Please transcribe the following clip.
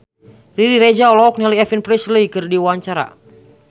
Riri Reza olohok ningali Elvis Presley keur diwawancara